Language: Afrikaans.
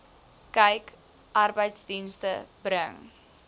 kyk arbeidsdienste bring